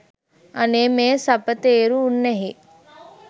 අනේ මේ සපතේරු උන්නැහේ